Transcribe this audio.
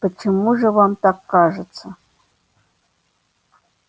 почему же вам так кажется